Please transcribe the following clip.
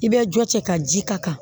I bɛ jɔ cɛ ka ji ka kan